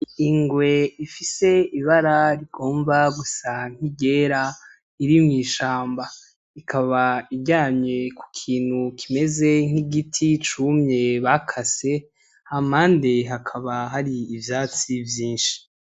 Ingwe ifise ibara rigomba gusa nk'iryera iri mwishamba. Ikaba iryamye kukintu kimeze nkigiti cumye bakase hampande hakaba hari ivyatsi vyinshi.